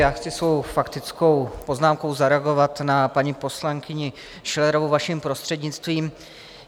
Já chci svou faktickou poznámkou zareagovat na paní poslankyni Schillerovou, vaším prostřednictvím.